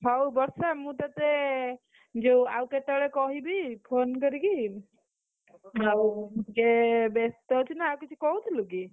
ହଉ ବର୍ଷା ମୁଁ ତୋତେ, ଯୋଉ ଆଉ କେତେବେଳେ କହିବି? phone କରିକି, silense ଆଉ ଟିକେ ବ୍ୟସ୍ତ ଅଛି ନା, ଆଉ କିଛି କହୁଥିଲୁ କି?